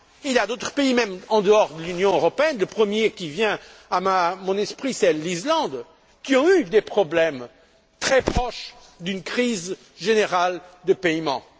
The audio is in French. Il y a d'autres pays même en dehors de l'Union européenne le premier qui me vient à l'esprit, c'est l'Islande qui ont eu des problèmes très proches d'une crise générale des États membres.